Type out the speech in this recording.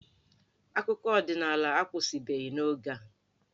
Akụkọ ọdịnala akwụsịbeghị n'oge a.